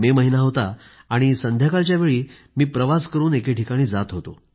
मे महिना होता आणि संध्याकाळच्या वेळी मी प्रवास करून एके ठिकाणी जात होतो